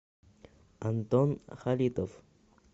антон халитов